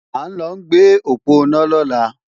À ń lọ gbé òponá lọ́la